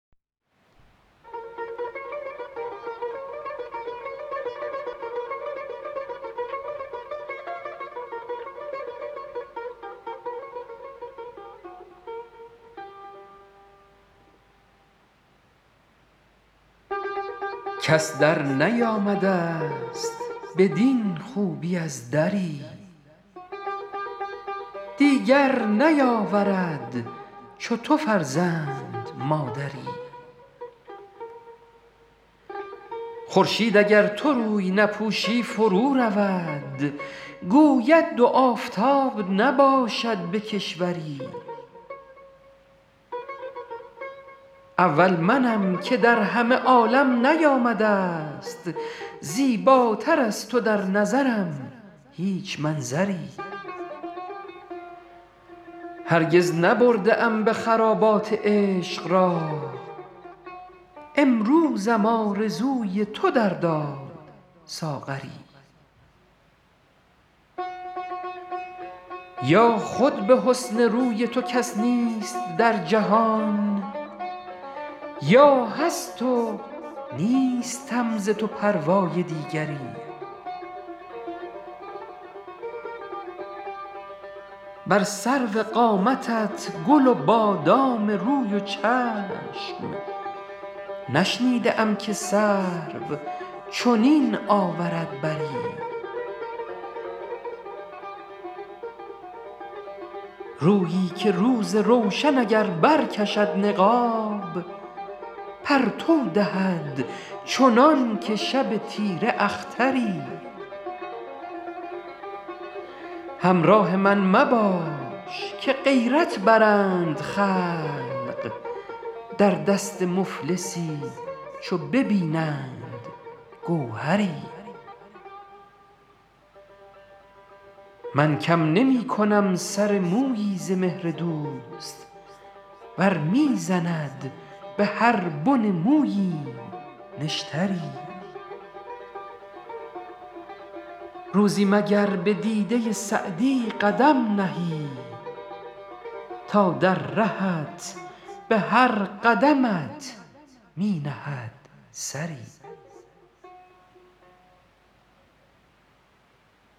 کس درنیامده ست بدین خوبی از دری دیگر نیاورد چو تو فرزند مادری خورشید اگر تو روی نپوشی فرو رود گوید دو آفتاب نباشد به کشوری اول منم که در همه عالم نیامده ست زیباتر از تو در نظرم هیچ منظری هرگز نبرده ام به خرابات عشق راه امروزم آرزوی تو در داد ساغری یا خود به حسن روی تو کس نیست در جهان یا هست و نیستم ز تو پروای دیگری بر سرو قامتت گل و بادام روی و چشم نشنیده ام که سرو چنین آورد بری رویی که روز روشن اگر برکشد نقاب پرتو دهد چنان که شب تیره اختری همراه من مباش که غیرت برند خلق در دست مفلسی چو ببینند گوهری من کم نمی کنم سر مویی ز مهر دوست ور می زند به هر بن موییم نشتری روزی مگر به دیده سعدی قدم نهی تا در رهت به هر قدمت می نهد سری